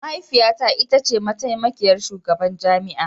Mahaifiyata ita ce mataimakiyar shugaban jami'a